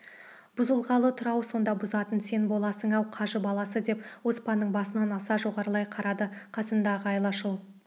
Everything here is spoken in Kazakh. бұзылғалы тұр-ау сонда бұзатын сен боласың-ау қажы баласы деп оспанның басынан аса жоғарылай қарады қасындағы айлашыл